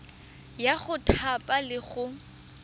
ya go thapa le go